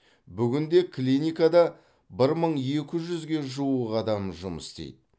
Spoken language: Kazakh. бүгінде клиникада бір мың екі жүзге жуық адам жұмыс істейді